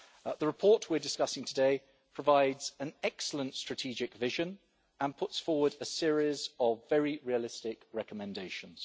The report we are discussing today provides an excellent strategic vision and puts forward a series of very realistic recommendations.